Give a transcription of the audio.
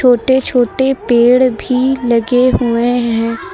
छोटे छोटे पेड़ भी लगे हुए हैं।